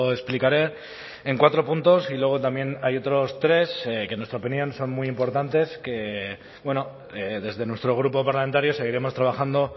explicaré en cuatro puntos y luego también hay otros tres que en nuestra opinión son muy importantes que desde nuestro grupo parlamentario seguiremos trabajando